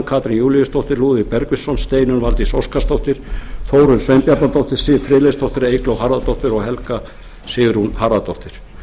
katrín júlíusdóttir lúðvík bergvinsson steinunn valdís óskarsdóttir þórunn sveinbjarnardóttir siv friðleifsdóttir eygló harðardóttir og helga sigrún harðardóttir þar er mælt fyrir því herra